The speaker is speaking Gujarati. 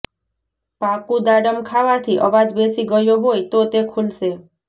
પાકું દાડમ ખાવાથી અવાજ બેસી ગયો હોય તો તે ખુલશે